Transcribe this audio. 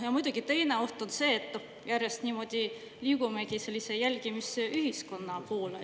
Ja muidugi teine oht on see, et järjest niimoodi liigumegi sellise jälgimisühiskonna poole.